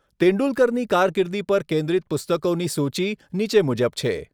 તેંડુલકરની કારકિર્દી પર કેન્દ્રિત પુસ્તકોની સૂચિ નીચે મુજબ છે.